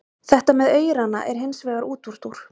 Þetta með aurana er hins vegar útúrdúr.